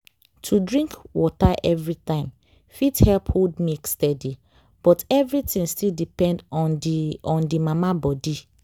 to drink water every time fit help hold milk steady but everything still depend on the on the mama body.